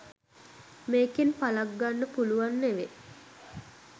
මේකෙන් පලක් ගන්න පුලුව නෙව.